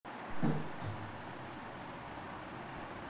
अमोल काळेच्या डायरीत धक्कादायक माहिती, 'या' चार जणांना मारण्याचा होता कट